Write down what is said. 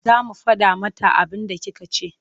Za mu faɗa mata abinda kika ce.